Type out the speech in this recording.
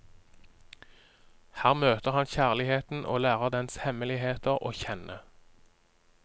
Her møter han kjærligheten og lærer dens hemmeligheter å kjenne.